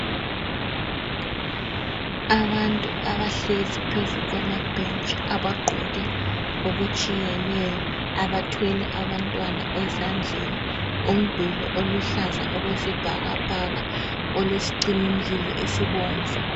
Abantu abahlezi phezu kwamabhentshi, abagqoke okutshiyeneyo, abathwele abantwana ezandleni. Umduli oluhlaza okwesibhakabhaka olesicimimlilo esibomvu.